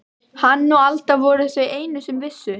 Hann og Alda voru þau einu sem vissu.